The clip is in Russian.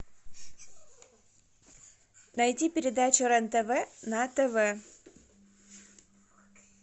найди передачу рен тв на тв